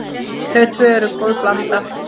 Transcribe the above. Þau tvö eru góð blanda.